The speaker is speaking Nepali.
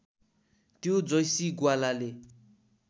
त्यो जैसी ग्वालाले